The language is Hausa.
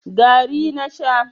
gari na Sha